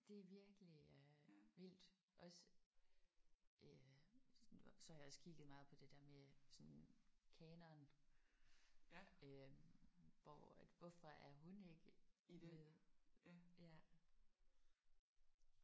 Det er virkelig øh vildt også øh så har jeg også kigget meget på det der med sådan kanon øh hvor er hvorfor er hun ikke med?